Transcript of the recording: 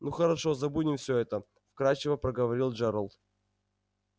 ну хорошо забудем всё это вкрадчиво проговорил джералд